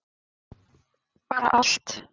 bara allt